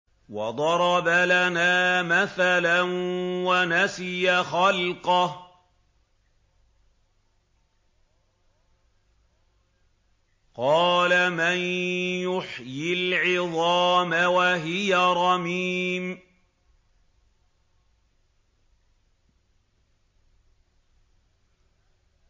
وَضَرَبَ لَنَا مَثَلًا وَنَسِيَ خَلْقَهُ ۖ قَالَ مَن يُحْيِي الْعِظَامَ وَهِيَ رَمِيمٌ